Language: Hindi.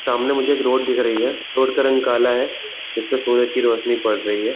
सामने मुझे एक रोड दिख रही है रोड का रंग काला है जिस पर सूरज की रोशनी पड़ रही है।